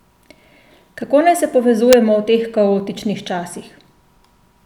Kako naj se povezujemo v teh kaotičnih časih?